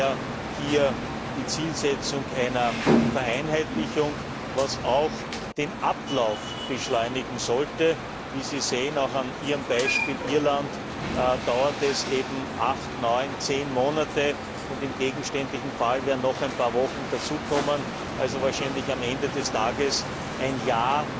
Also daher hier die Zielsetzung einer Vereinheitlichung, was auch den Ablauf beschleunigen sollte. Wie Sie auch an Ihrem Beispiel Irland sehen, dauert es eben acht, neun, zehn Monate, und im gegenständlichen Fall werden noch ein paar Wochen hinzukommen, also wahrscheinlich am Ende des Tages ein Jahr,